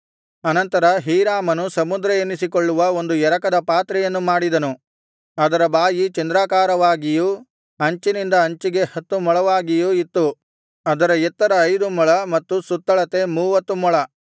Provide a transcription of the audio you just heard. ಅನಂತರ ಹೀರಾಮನು ಸಮುದ್ರ ಎನಿಸಿಕೊಳ್ಳುವ ಒಂದು ಎರಕದ ಪಾತ್ರೆಯನ್ನು ಮಾಡಿದನು ಅದರ ಬಾಯಿ‍ ಚಂದ್ರಾಕಾರವಾಗಿಯೂ ಅಂಚಿನಿಂದ ಅಂಚಿಗೆ ಹತ್ತು ಮೊಳವಾಗಿಯೂ ಇತ್ತು ಅದರ ಎತ್ತರ ಐದು ಮೊಳ ಮತ್ತು ಸುತ್ತಳತೆ ಮೂವತ್ತು ಮೊಳ